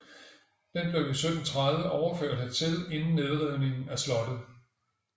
Den blev i 1730 overført hertil inden nedrivningen af slottet